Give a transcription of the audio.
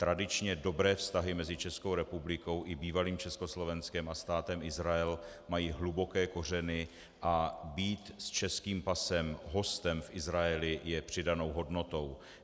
Tradičně dobré vztahy mezi Českou republikou i bývalým Československem a Státem Izrael mají hluboké kořeny a být s českým pasem hostem v Izraeli je přidanou hodnotou.